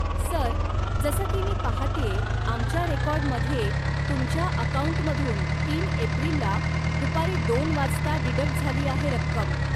Sir, जसं की मी पाहतेय आमच्या रेकोर्डमध्ये, तुमच्या अकाऊंटमधून तीन एप्रिलला दुपारी दोन वाजता डिडक्ट झालीआहे रक्कम.